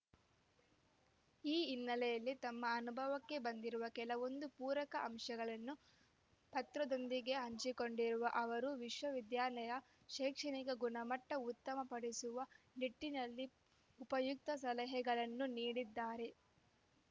ಈ ಹಿನ್ನೆಲೆಯಲ್ಲಿ ತಮ್ಮ ಅನುಭವಕ್ಕೆ ಬಂದಿರುವ ಕೆಲವೊಂದು ಪೂರಕ ಅಂಶಗಳನ್ನು ಪತ್ರದೊಂದಿಗೆ ಹಂಚಿಕೊಂಡಿರುವ ಅವರು ವಿಶ್ವವಿದ್ಯಾಲಯದ ಶೈಕ್ಷಣಿಕ ಗುಣಮಟ್ಟಉತ್ತಮಪಡಿಸುವ ನಿಟ್ಟಿನಲ್ಲಿ ಉಪಯುಕ್ತ ಸಲಹೆಗಳನ್ನು ನೀಡಿದ್ದಾರೆ